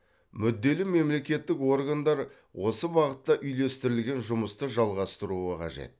мүдделі мемлекеттік органдар осы бағытта үйлестірілген жұмысты жалғастыруы қажет